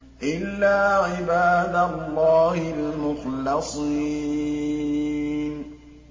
إِلَّا عِبَادَ اللَّهِ الْمُخْلَصِينَ